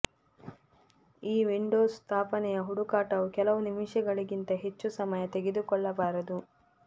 ಈ ವಿಂಡೋಸ್ ಸ್ಥಾಪನೆಯ ಹುಡುಕಾಟವು ಕೆಲವು ನಿಮಿಷಗಳಿಗಿಂತ ಹೆಚ್ಚು ಸಮಯ ತೆಗೆದುಕೊಳ್ಳಬಾರದು